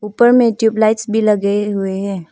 ऊपर में tube lights भी लगे हुए हैं।